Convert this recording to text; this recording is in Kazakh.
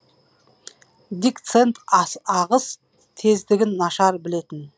дик сэнд ағыс тездігін нашар білетін